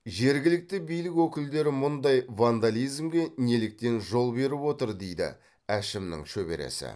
жергілікті билік өкілдері мұндай вандализмге неліктен жол беріп отыр дейді әшімнің шөбересі